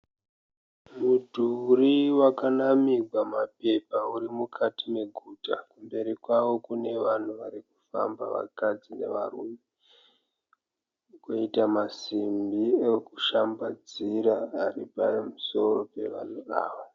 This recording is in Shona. Mudhuri wakanamirwa mapepa uri mukati meguta. Mberi kwawo kune vanhu vari kufamba vakadzi nevarume koita masimbi ekushambadzira ari pamusoro pevanhu ava.